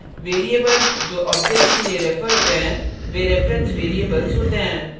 variables जो objects के लिए refer होते हैं वे reference variables होते हैं